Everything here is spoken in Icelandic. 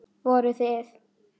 Voruð þið.